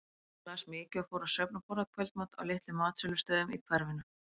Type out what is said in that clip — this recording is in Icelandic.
Hún las mikið og fór á söfn og borðaði kvöldmat á litlum matsölustöðum í hverfinu.